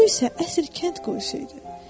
Bu isə əsl kənd quyusuydu.